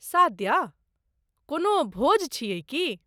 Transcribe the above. सादया, कोनो भोज छियै की?